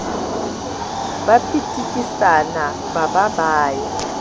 pitikisana ba ba ba ya